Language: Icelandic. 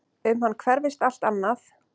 Um hann hverfist allt annað.